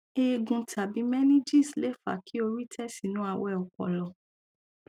eegun tàbí meninges lè fa kí orí tẹ sínú awẹ ọpọlọ